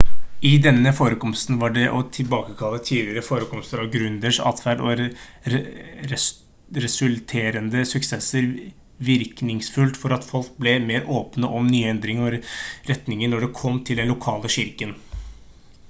i denne forekomsten var det å tilbakekalle tidligere forekomster av gründeres atferd og resulterende suksesser virkningsfullt for at folk ble mer åpne for nye endringer og ny retning når det kom til den lokale kirken